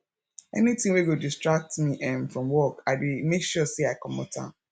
anytin wey go distract me um from work i dey make sure say i comot am